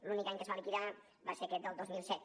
l’únic any que es va liquidar va ser aquest del dos mil set